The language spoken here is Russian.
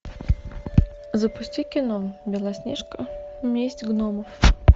запусти кино белоснежка месть гномов